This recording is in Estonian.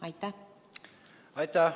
Aitäh!